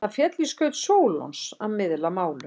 Það féll í skaut Sólons að miðla málum.